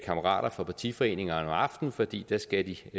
kammerater fra partiforeningerne om aftenen fordi de da skal